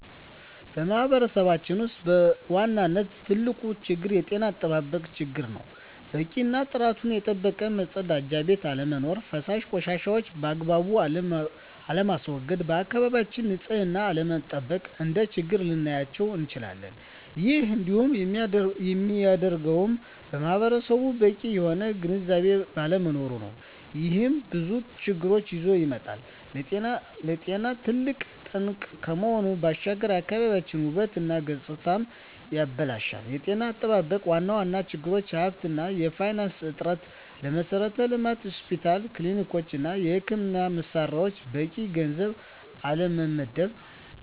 በማህበረሰባችን ውስጥ በዋናነት ትልቁ ችግር የጤና አጠባበቅ ችግር ነው። በቂ እና ጥራቱን የጠበቀ መፀዳጃ ቤት አለመኖር። ፈሳሽ ቆሻሻዎችን ባግባቡ አለማስዎገድ፣ የአካባቢን ንፅህና አለመጠበቅ፣ እንደ ችግር ልናያቸው እንችላለን። ይህም እንዲሆን የሚያደርገውም ማህበረሰቡ በቂ የሆነ ግንዝቤ ባለመኖሩ ነው። ይህም ብዙ ችግሮችን ይዞ ይመጣል። ለጤና ትልቅ ጠንቅ ከመሆኑ ባሻገር የአካባቢን ውበት እና ገፅታንም ያበላሻል። የጤና አጠባበቅ ዋና ዋና ችግሮች የሀብት እና የፋይናንስ እጥረት፣ ለመሠረተ ልማት (ሆስፒታሎች፣ ክሊኒኮች) እና የሕክምና መሣሪያዎች በቂ ገንዘብ አለመመደብ።